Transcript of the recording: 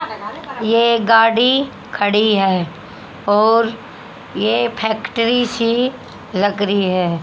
ये एक गाडी खड़ी है और ये फैक्ट्री सी लग रही है।